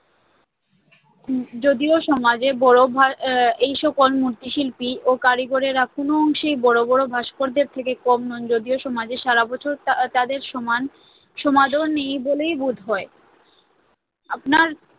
যদিও সমাজে আহ এই সকল মূর্তিশিল্পী ও কারিগরেরা কোন অংশেই বড় বড় ভাস্করদের থেকে কম নন সমাজে সারাবছর তাদের সমান সমাদর নেই বলেই বোধ হয় আপনার